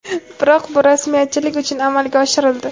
Biroq bu rasmiyatchilik uchun amalga oshirildi.